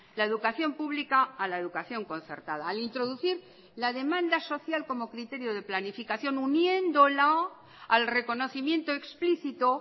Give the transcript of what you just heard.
la educación pública a la educación concertada al introducir la demanda social como criterio de planificación uniéndola al reconocimiento explícito